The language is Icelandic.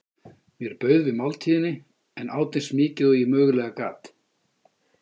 Mér bauð við máltíðinni en át eins mikið og ég mögulega gat.